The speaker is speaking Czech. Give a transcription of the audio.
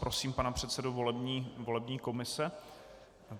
Prosím pana předsedu volební komise.